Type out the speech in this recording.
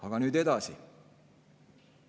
Aga nüüd edasi.